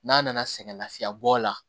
N'a nana sɛgɛn lafiyɛbɔ la